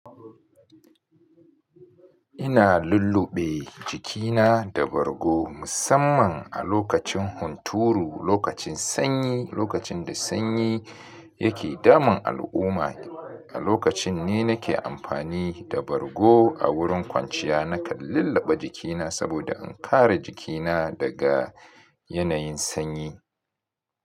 Ina lulluɓe jikina da bargo musamman a lokacin hunturu, lokacin sanyi, lokacin da sanyi yake damun al'umma. A lokacin ne nake amfani da bargo a wurin kwanciya, nakan lulluɓe jikina saboda in kare jikina daga yanayin sanyi.